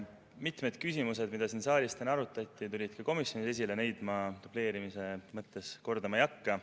Mitmed küsimused, mida siin saalis täna arutati, tulid ka komisjonis esile, neid ma dubleerimise mõttes kordama ei hakka.